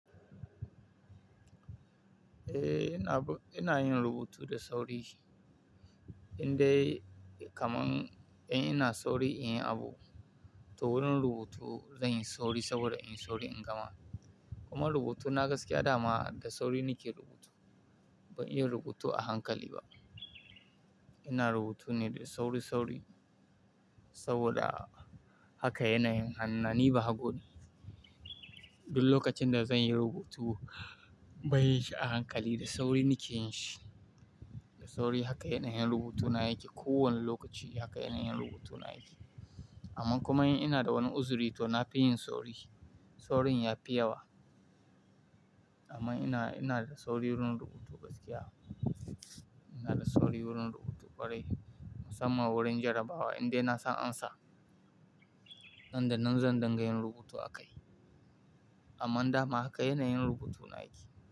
Eh, ina ina yin rubutu da sauri. Indai kaman in ina sauri in yi abu, to wurin rubutu zan yi sauri saboda in yi sauri in gama. Kuma rubutuna gaskiya dama da sauri nike rubutu, ban iya rubutu a hankali ba. Ina rubutu ne da sauri-sauri saboda haka yanayin hannuna ni bahago ne. Duk lokacin da zan yi rubutu ban yin shi a hankali, da sauri nike yin shi, Da sauri haka yana yin rubutuna yake. Ko wane lokaci haka yanayin rubutuna yake. Amma kuma in ina da wani uzuri to na fi yin sauri. Saurin ya fi yawa. Amma ina, ina da sauri wurin rubutu gaskiya. Ina da sauri wurin rubutu ƙwarai musamman wurin jarabawa indai na san ansa. Nan da nan zan dinga yin rubutu a kai. Amma dama haka yanayin rubutuna yake.